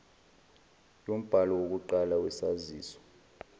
yombhalo wokuqala wesaziso